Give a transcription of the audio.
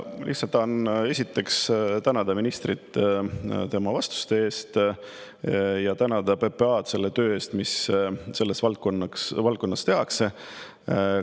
Lihtsalt tahan tänada ministrit tema vastuste eest ja PPA-d selle töö eest, mis selles valdkonnas tehakse.